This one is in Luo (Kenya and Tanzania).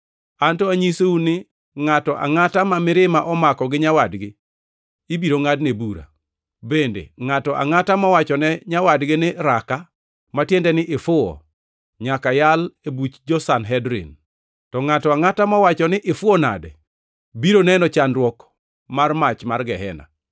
Anto anyisou ni ngʼato angʼata ma mirima omako gi nyawadgi ibiro ngʼadne bura. Bende, ngʼato angʼata mowachone nyawadgi ni, ‘Raka,’ ma tiende ni ifuwo, nyaka yal e buch jo-Sanhedrin. To ngʼato angʼata mowacho ni, ‘Ifuwo nade,’ biro neno chandruok mar mach mar Gehena.